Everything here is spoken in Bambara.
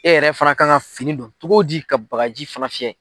Ne yɛrɛ fana ka kan ka fini don cogo di ka bagaji fana fiyɛ.